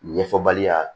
Ɲɛfɔbaliya